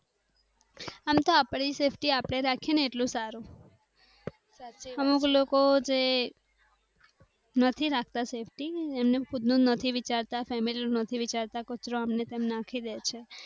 અમ તો અપ ની safety આપ ને રાખે એટલું સારું અમુક લોકો જે નથી રાખતા safety અને ખુદ નું નથી વિચાર તા ફેમિલી નું નથી વિચારતા કચરો આમને તેમ નાખી દે છે.